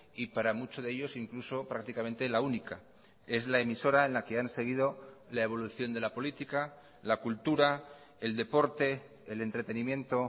y para muchos de ellos incluso prácticamente la única es la emisora en la que han seguido la evolución de la política la cultura el deporte el entretenimiento